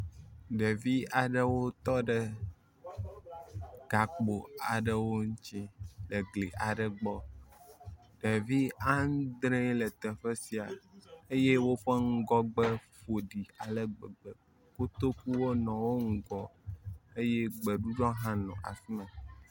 Ɖevi aɖewo tɔ ɖe gakpo aɖewo ŋuti le gli aɖe gbɔ. Ɖevi andree le teƒe sia eye woƒe ŋgɔgbe ƒoɖi ale gbegbe. Kotoku wo nɔ wo ŋgɔ eye gbeɖuɖɔ hã nɔ afi ma.